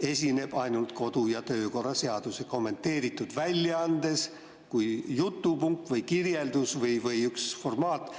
esineb ainult kodu‑ ja töökorra seaduse kommenteeritud väljaandes kui jutupunkt või kirjeldus või üks formaat.